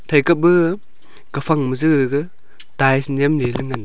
thai kap aa kaphang ma ja gag tiles nyemley ley ngan.